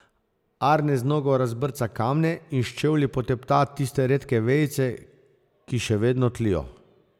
Arne z nogo razbrca kamne in s čevlji potepta tiste redke vejice, ki še vedno tlijo.